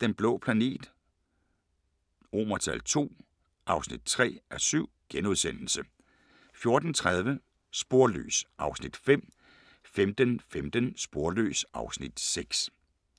Den blå planet II (3:7)* 14:30: Sporløs (Afs. 5) 15:15: Sporløs (Afs. 6)